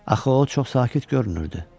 Axı o çox sakit görünürdü.